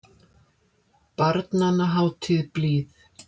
Barnanna hátíð blíð.